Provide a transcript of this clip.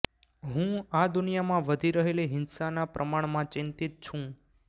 હું આ દુનિયામાં વધી રહેલી હિંસાના પ્રમાણમાં ચિંતિત છું